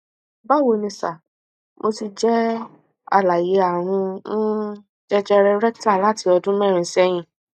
bawo ni sir mo ti jẹ alààyè àrùn um jẹjẹrẹ rectal láti ọdún mẹrin sẹyìn